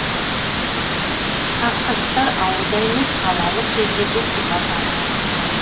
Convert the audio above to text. қақтығыстар ауылда емес қалалық жерлерде сипат алуы ықтимал